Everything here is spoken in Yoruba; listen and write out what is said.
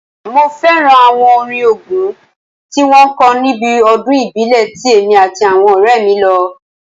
Mo fẹ́ràn àwọn orin Ògún tí wọ́n kọ níbi ọdún ìbílẹ̀ ti èmi àti àwọn ọ̀rẹ́ mí lọ